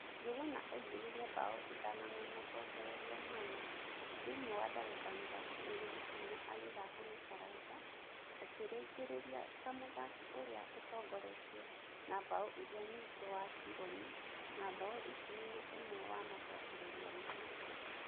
Njũguna aingĩririe mbaũ ithano na macokererio mana thĩinĩ wa ndagika mĩrongo ĩrĩ na inya agĩthaka na Karanja akĩrĩkĩrĩria ta mũthaki ũrĩa ũtongoretie na mbaũ ĩrĩa nyingĩ wa Tigoni na mbaũ ikũmi na ĩmwe na macokererio mana.